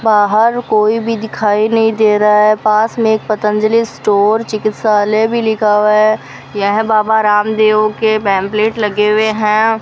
बाहर कोई भी दिखाई नहीं दे रहा है पास मे एक पतंजलि स्टोर चिकित्सालय भी लिखा हुआ है यह बाबा रामदेव के पैंपलेट लगे हुए है।